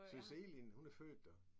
Søs Egelind hun er født der